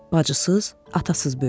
Bacısız, atasız böyüdü.